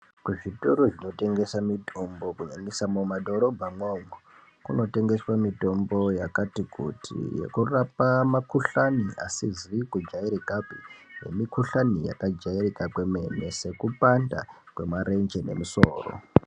Kuzvikotoro zvinotengesa mitombo kunyanyisa mumadhorobha umwomwo kunotengeswa mitombo yakati kuti inorapa mikuhlani isizi kujairikapi nemikuhlani yakajairika kwemene sekupanda kwemarenje nemusoro.